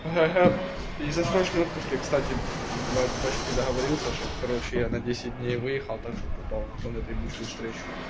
ха-ха из-за срочного отпуска я кстати блять почти договорился чтобы короче я на десять дней выехал так что попал на эту ебучую встречу